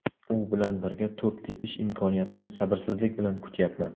U bilan birga to‘p tepish imkoniyatini sabrsizlik bilan kutyapman”.